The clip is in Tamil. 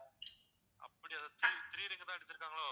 அப்படியா three three ring தான் அடிச்சிருக்காங்கலோ